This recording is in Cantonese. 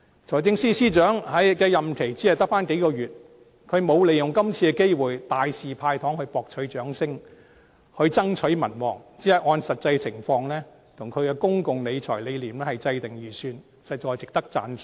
財政司司長的任期只剩下數月，他並沒有利用這次的機會大肆"派糖"來博取掌聲、增取民望，只按實際情況及其公共財政理念來制訂預算，實在值得讚賞。